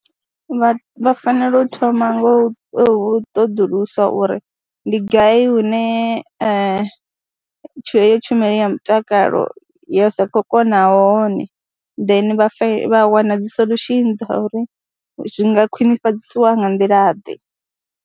Vha fanela u thoma ngo u ṱoḓulusa uri ndi gai hune heyo tshumelo ya mutakalo yo sa khou kona hone then vha wana dzi solution dza uri zwi nga khwinifhadzisiwa nga nḓilaḓe.